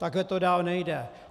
Takhle to dál nejde.